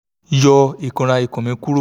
yọ ikunra ikun mi kuro